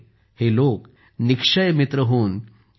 हे लोक निक्षय मित्र होऊन टी